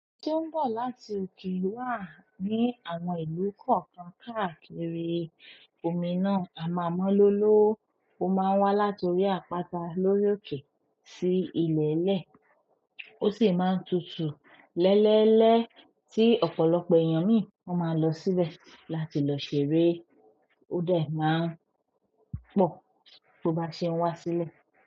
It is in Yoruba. Ojo tó ń bọ̀ láti òkè wà ní àwọn ìlú kokan káàkiri. Òmì náà à maa mọ́lóló. Ó máa ń wá látòrí àpata lórí òkè sí ilẹ̀lẹ̀. O si n maa tutu lelele ti ọ̀pọ̀lọpọ̀ eyan min maa losi be láti lo ṣeré. Ó dà máa ń pọ̀ tó bá ṣe n wá sílẹ̀.